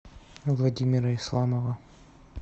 владимира исламова